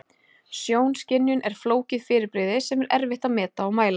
Sjónskynjun er flókið fyrirbrigði sem er erfitt að meta og mæla.